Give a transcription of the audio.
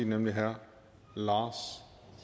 nemlig herre lars